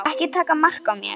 Ekki taka mark á mér.